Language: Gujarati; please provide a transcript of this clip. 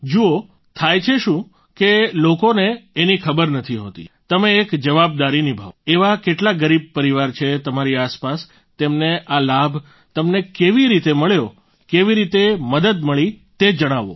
જુઓ થાય છે શું કે લોકોને એની ખબર નથી હોતી તમે એક જવાબદારી નિભાવો એવા કેટલા ગરીબ પરિવાર છે તમારી આસપાસ તેમને આ લાભ તમને કેવી રીતે મળ્યો કેવી રીતે મદદ મળી તે જણાવો